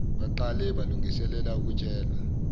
baqale balungiselele ukutshela